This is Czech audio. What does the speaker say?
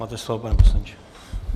Máte slovo, pane poslanče.